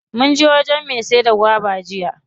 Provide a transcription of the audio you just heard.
Munje wajen me saida gwaba jiya.